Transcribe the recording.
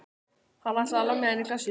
Hann ætlaði að lemja hann í klessu.